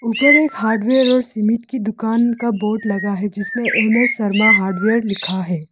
ऊपर एक हार्डवेयर और सुमित की दुकान का बोर्ड लगा है जिसमें एम_एस शर्मा हार्डवेयर लिखा है।